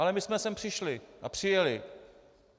Ale my jsme sem přišli a přijeli.